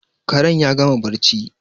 Karen ya gama barci